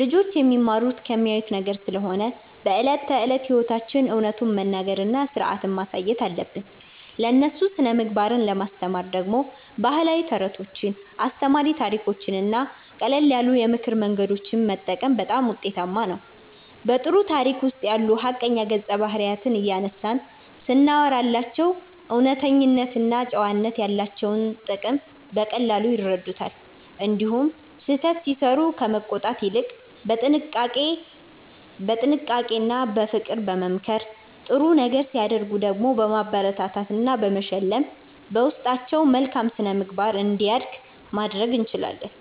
ልጆች የሚማሩት ከሚያዩት ነገር ስለሆነ በዕለት ተዕለት ሕይወታችን እውነቱን መናገርና ሥርዓትን ማሳየት አለብን። ለእነሱ ሥነ-ምግባርን ለማስተማር ደግሞ ባህላዊ ተረቶችን፣ አስተማሪ ታሪኮችንና ቀለል ያሉ የምክር መንገዶችን መጠቀም በጣም ውጤታማ ነው። በጥሩ ታሪክ ውስጥ ያሉ ሐቀኛ ገጸ-ባህሪያትን እያነሳን ስናወራላቸው እውነተኝነትና ጨዋነት ያላቸውን ጥቅም በቀላሉ ይረዱታል። እንዲሁም ስህተት ሲሠሩ ከመቆጣት ይልቅ በጥንቃቄና በፍቅር በመምከር፣ ጥሩ ነገር ሲያደርጉ ደግሞ በማበረታታትና በመሸለም በውስጣቸው መልካም ሥነ-ምግባር እንዲያድግ ማድረግ እንችላለን።